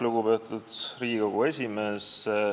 Lugupeetud Riigikogu esimees!